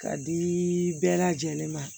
Ka di bɛɛ lajɛlen ma